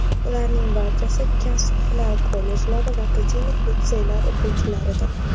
Ularning barchasi kasb-hunar kollejlari va akademik litseylar o‘quvchilaridir.